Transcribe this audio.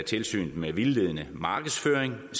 tilsynet med vildledende markedsføring og